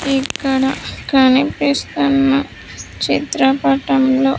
ఇక్కడ కనిపిస్తున్న చిత్రపటంలో.